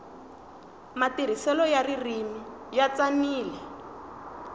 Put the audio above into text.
matirhiselo ya ririmi ya tsanile